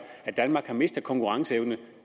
at danmark har mistet konkurrenceevne